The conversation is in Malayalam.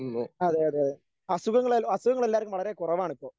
അതെ അതെ അസുഖങ്ങളെല്ലാ അസുഖങ്ങളെല്ലാവർക്കും വളരെ കുറവാണിപ്പോ.